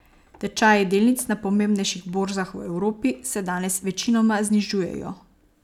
Tečaji delnic na pomembnejših borzah v Evropi se danes večinoma znižujejo.